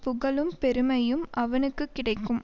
புகழும் பெருமையும் அவனுக்கு கிடைக்கும்